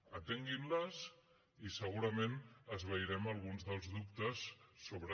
atenguin les i segurament esvairem alguns dels dubtes sobre